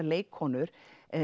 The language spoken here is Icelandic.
leikkonur